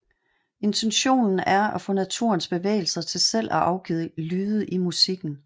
Intentionen er at få naturens bevægelser til selv at afgive lyde i musikken